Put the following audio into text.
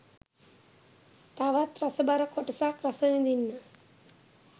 තවත් රසබර කොටසක් රස විඳින්න.